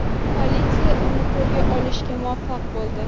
Politsiya uni qo‘lga olishga muvaffaq bo‘ldi.